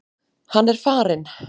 Hann er farinn.